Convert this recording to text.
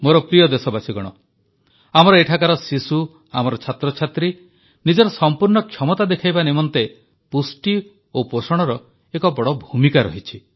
ମୋର ପ୍ରିୟ ଦେଶବାସୀଗଣ ଆମର ଏଠାକାର ଶିଶୁ ଆମର ଛାତ୍ରଛାତ୍ରୀ ନିଜର ସଂପୂର୍ଣ୍ଣ କ୍ଷମତା ଦେଖାଇବା ନିମନ୍ତେ ପୁଷ୍ଟି ଓ ପୋଷଣର ଏକ ବଡ଼ ଭୂମିକା ରହିଛି